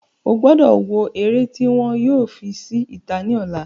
Ogbọ́do wo eré tí wọn yóò fi sí ìta ní ọ̀la